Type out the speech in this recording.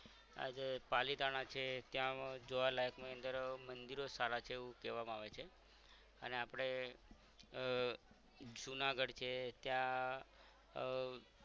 આ જે પાલિતાણા છે ત્યાં અ જોવા લાયક ની અંદર અ મંદિરો સારા છે એવું કેવામાં આવે છે અને આપણે અ જુનાગઢ છે ત્યાં